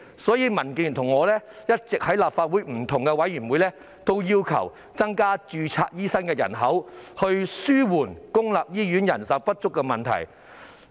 因此，民主建港協進聯盟和我一直在立法會不同的委員會要求增加註冊醫生人數，以紓緩公立醫院人手不足的問題。